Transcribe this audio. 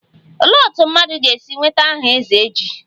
Olee otú mmadụ ga-esi nweta aha 'ezeji'?